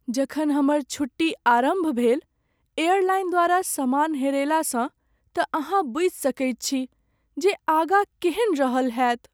जखन हमर छुट्टी आरम्भ भेल एयरलाइन द्वारा समान हेरयलासँ तँ अहाँ बूझि सकैत छी जे आगाँ केहन रहल होयत।